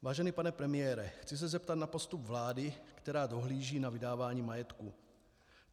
Vážený pane premiére, chci se zeptat na postup vlády, která dohlíží na vydávání majetku.